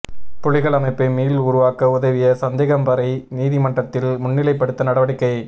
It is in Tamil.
புலிகள் அமைப்பை மீள் உருவாக்க உதவிய சந்தேகபரை நீதிமன்றத்தில் முன்னிலைப்படுத்த நடவடிக்கை